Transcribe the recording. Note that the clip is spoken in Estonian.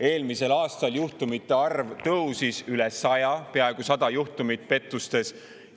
Eelmisel aastal juhtumite arv tõusis üle 100, peaaegu 100 juhtumit pettustes.